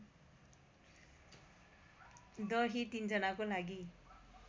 दही ३ जनाको लागी